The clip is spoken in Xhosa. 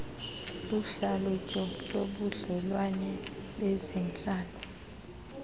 luhlalutyo lobudlelwane bezentlalo